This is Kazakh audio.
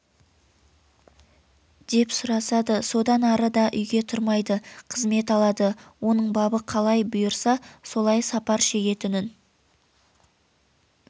деп сұрасады содан ары да үйге тұрмайды қызмет алады оның бабы қалай бұйырса солай сапар шегетінін